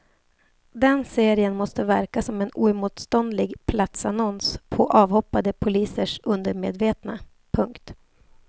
Den serien måste verka som en oemotståndlig platsannons på avhoppade polisers undermedvetna. punkt